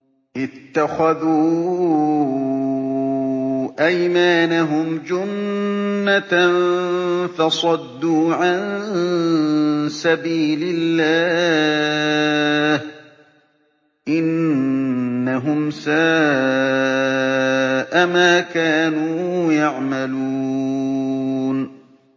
اتَّخَذُوا أَيْمَانَهُمْ جُنَّةً فَصَدُّوا عَن سَبِيلِ اللَّهِ ۚ إِنَّهُمْ سَاءَ مَا كَانُوا يَعْمَلُونَ